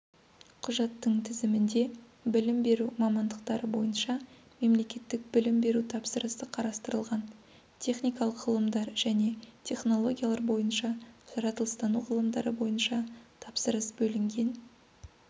құжаттың тізімінде білім беру мамандықтары бойынша мемлекеттік білім беру тапсырысы қарастырылған техникалық ғылымдар және технологиялар бойынша жаратылыстану ғылымдары бойынша тапсырыс бөлінген